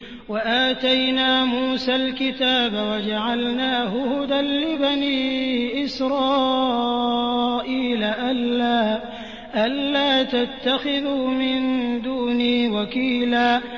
وَآتَيْنَا مُوسَى الْكِتَابَ وَجَعَلْنَاهُ هُدًى لِّبَنِي إِسْرَائِيلَ أَلَّا تَتَّخِذُوا مِن دُونِي وَكِيلًا